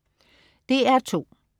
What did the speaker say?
DR2: